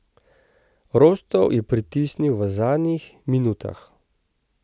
Rostov je pritisnil v zadnjih minutah.